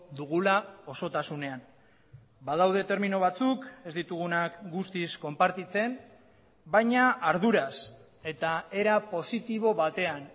dugula osotasunean badaude termino batzuk ez ditugunak guztiz konpartitzen baina arduraz eta era positibo batean